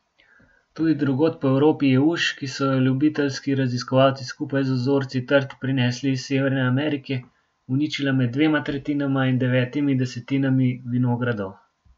Tudi drugod po Evropi je uš, ki so jo ljubiteljski raziskovalci skupaj z vzorci trt prinesli iz Severne Amerike, uničila med dvema tretjinama in devetimi desetinami vinogradov.